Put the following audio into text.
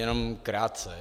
Jenom krátce.